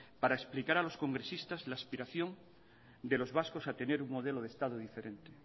para explicar a los congresistas la aspiración de los vascos a tener un modelo de estado diferente